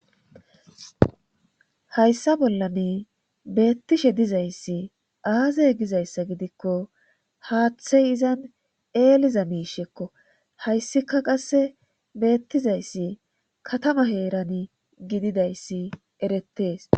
hayssa bollani beettishe dizayssi aaze gizayssa gidikko haaththey izan eeliza miishekko hayssika qasse beettizayssi katama heeran gididayssi erettees